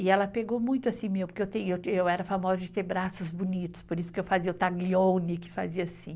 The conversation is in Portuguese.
E ela pegou muito assim, meu, porque eu era famosa de ter braços bonitos, por isso que eu fazia o taglione, que fazia assim.